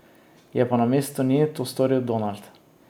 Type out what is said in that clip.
Je pa namesto nje to storil Donald.